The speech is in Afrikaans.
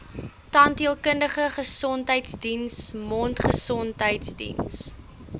tandheelkundige gesondheidsdiens mondgesondheidsdiens